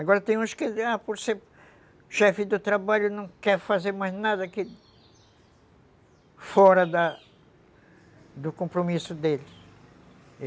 Agora tem uns que, por ser chefe do trabalho, não quer fazer mais nada fora da do compromisso deles.